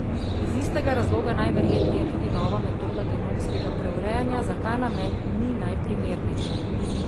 Iz istega razloga najverjetneje tudi nova metoda genomskega preurejanja za ta namen ni najprimernejša.